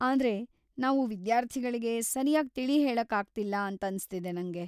ಆದ್ರೆ, ನಾವು ವಿದ್ಯಾರ್ಥಿಗಳ್ಗೆ ಸರ್ಯಾಗ್‌ ತಿಳಿಹೇಳಕ್ಕಾಗ್ತಿಲ್ಲ ಅಂತನ್ಸ್ತಿದೆ ನಂಗೆ.